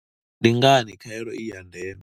Ndi ngani khaelo i ya ndeme?